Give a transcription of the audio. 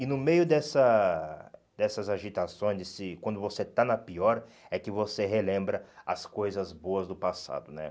E no meio dessa dessas agitações, quando você está na pior, é que você relembra as coisas boas do passado, né?